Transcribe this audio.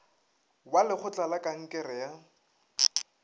wa lekgotla la kankere ya